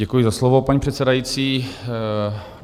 Děkuji za slovo, paní předsedající.